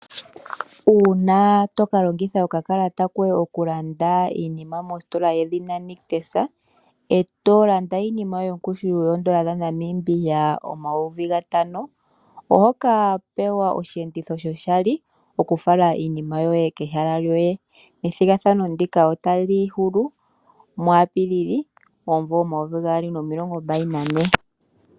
Uuna to ka longitha longitha okakalata koye okulanda iinima mositola yedhina Nictus eto landa iinima yoye yongushu yoodola dhanamibia omayovi gatano ohopewa osheenditho shoshali oku fala iinima yoye kehala lyoye. Ethigathano ndika otali hulu muapili omumvo omayovi gaali nomilongo mbali nane.